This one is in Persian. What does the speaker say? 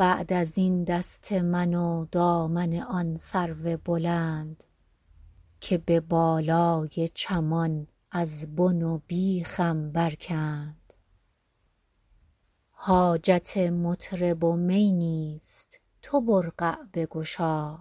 بعد از این دست من و دامن آن سرو بلند که به بالای چمان از بن و بیخم برکند حاجت مطرب و می نیست تو برقع بگشا